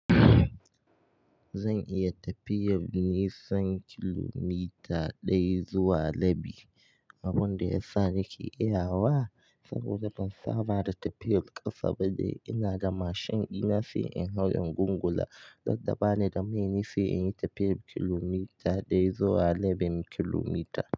Zan iya tafiyar nisan kilomita ɗaya zuwa rabi, abin da ya sa nake iyawa saboda ban saba da tafiyar ƙasa ba. Ina da mashin ɗina sai in hau ingulgula, radda ba ni da mai ne sai in yi tafiyar kilomita ɗaya zuwa rabin kilomita.